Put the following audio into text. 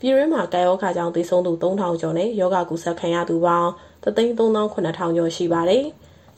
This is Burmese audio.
ပြည်တွင်းမှာ ကပ်ရောဂါကြောင့် သေဆုံးသူ ၃,၀၀၀ ကျော်နဲ့ ရောဂါကူးစက်ခံရသူပေါင်း ၁၃၇,၀၀၀ ကျော်ရှိပါတယ်။